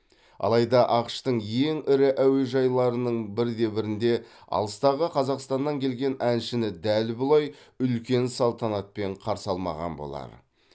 алайда ақш тың ең ірі әуежайларының бірде бірінде алыстағы қазақстаннан келген әншіні дәл бұлай үлкен салтанатпен қарсы алмаған болар